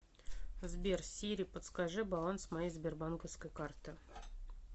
сбер сири подскажи баланс моей сбербанковской карты